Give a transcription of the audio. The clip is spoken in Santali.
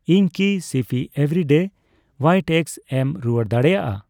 ᱤᱧ ᱠᱤ ᱥᱤᱯᱤ ᱮᱵᱷᱨᱤᱰᱮ ᱦᱣᱟᱭᱤᱴ ᱮᱜᱜᱥ ᱮᱢ ᱨᱩᱣᱟᱹᱲ ᱫᱟᱲᱮᱭᱟᱜᱼᱟ?